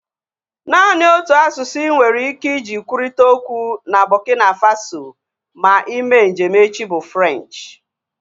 Naanị otu asụsụ inwere ike iji kwurịta okwu na Burkina Faso ma ime njem echi bụ Frenchi